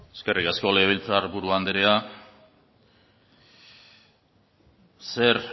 eskerrik asko legebiltzar buru andrea zer